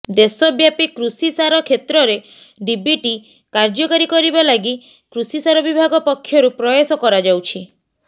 ଦେଶବ୍ୟାପୀ କୃଷିସାର କ୍ଷେତ୍ରରେ ଡିବିଟି କାର୍ଯ୍ୟକାରୀ କରିବା ଲାଗି କୃଷିସାର ବିଭାଗ ପକ୍ଷରୁ ପ୍ରୟାସ କରାଯାଉଛି